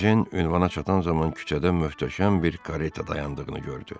Ejen ünvana çatan zaman küçədə möhtəşəm bir kareta dayandığını gördü.